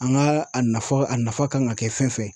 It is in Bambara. An ka a nafa a nafa kan ka kɛ fɛn fɛn